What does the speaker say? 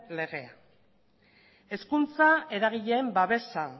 legea hezkuntza eragileen babesa